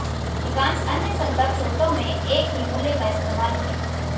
अधिकांश अन्य संदर्भ स्रोतों में एक ही मूल्य का इस्तेमाल किया